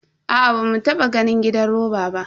Aa, bamu taba ganin gidan roba ba.